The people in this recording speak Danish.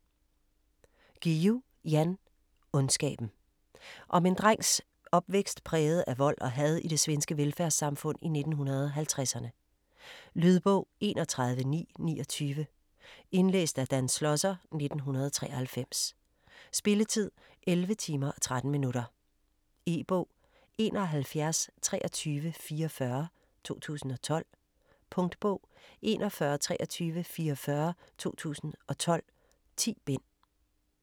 Guillou, Jan: Ondskaben Om en drengs opvækst præget af vold og had i det svenske velfærdssamfund i 1950'erne. Lydbog 31929 Indlæst af Dan Schlosser, 1993. Spilletid: 11 timer, 13 minutter. E-bog 712344 2012. Punktbog 412344 2012. 10 bind.